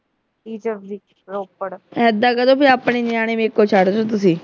ਐਦਾਂ ਕਹਿ ਦੋ ਵੀ ਆਪਣੇ ਨਿਆਣੇ ਨੇ ਛੱਡ ਦੋ ਤੁਸੀਂ